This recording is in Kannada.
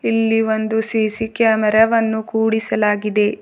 ಇಲ್ಲಿ ಒಂದು ಸಿ_ಸಿ ಕ್ಯಾಮೆರಾ ವನ್ನು ಕೂಡಿಸಲಾಗಿದೆ.